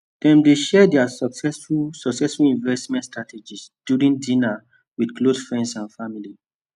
dem dey share their successful successful investment strategies during dinner with close friends and family